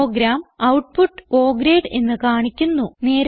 programme output O grade എന്ന് കാണിക്കുന്നു